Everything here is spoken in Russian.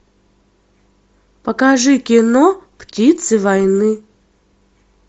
покажи кино птицы войны